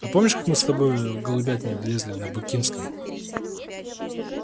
а помнишь как мы с тобой в голубятню влезли на букинском